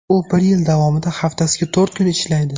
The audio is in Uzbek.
U bir yil davomida haftasiga to‘rt kun ishlaydi.